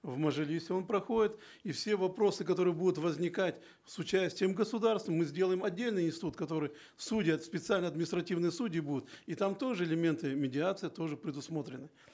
в мажилисе он проходит и все вопросы которые будут возникать с участием государства мы сделаем отдельный институт в котором судьи специальные административные судьи будут и там тоже элементы медиации тоже предусмотрены